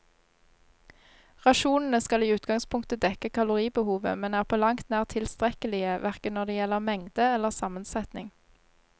Rasjonene skal i utgangspunktet dekke kaloribehovet, men er på langt nær tilstrekkelige, hverken når det gjelder mengde eller sammensetning.